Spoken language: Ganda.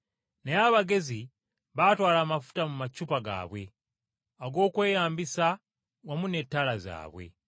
Naye abagezi baatwala amafuta mu macupa gaabwe ag’okweyambisa wamu n’ettaala zaabwe.